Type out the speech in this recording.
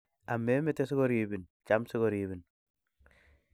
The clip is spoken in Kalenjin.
Amemete, si koriibin; cham, si koriibin.